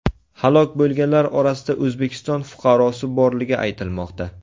Halok bo‘lganlar orasida O‘zbekiston fuqarosi borligi aytilmoqda .